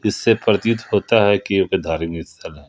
इससे प्रतीत होता है कि धार्मिक स्थल है।